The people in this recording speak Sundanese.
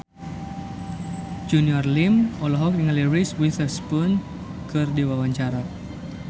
Junior Liem olohok ningali Reese Witherspoon keur diwawancara